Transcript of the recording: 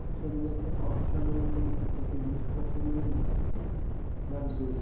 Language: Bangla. office আদালতে office আদালতে মনে করেন যে english ছাড়া চলবেই না আপনার লাগবেই